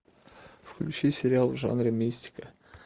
включи сериал в жанре мистика